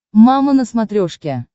мама на смотрешке